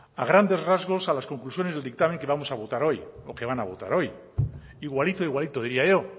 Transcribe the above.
a grandes rasgos a las conclusiones del dictamen que vamos a votar hoy o que van a votar hoy igualito igualito diría yo